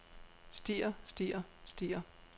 stier stier stier